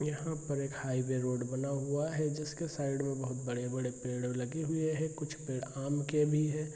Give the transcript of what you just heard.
यहां पर एक हाईवे रोड बना हुआ है जिसके साइड में बड़े-बड़े पेड़ लगे हुए है कुछ पेड़ आम के भी है।